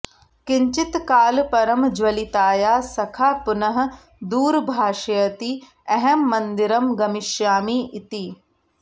किञ्चित् काल परं ज्वलितायाः सखा पुनः दूरभाषयति अहं मन्दिरं गमिष्यामि इति